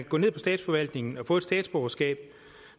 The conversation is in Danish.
gå ned på statsforvaltningen og få et statsborgerskab